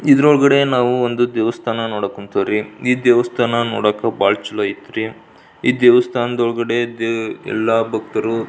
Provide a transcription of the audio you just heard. ಇದರ ಒಳಗಡೆ ನಾವು ಒಂದು ದೇವಸ್ಥಾನ ನೋಡಕುಂತೀವ್ರಿ ಈ ದೇವಸ್ಥಾನ ನೋಡಕ್ ಬಹಳ ಛಲೊಆಯ್ತ್ರಿ ಇದೇವಸ್ತಾನದ ಒಳಗಡೆದ ಎಲ್ಲಾ ಭಕ್ತರು --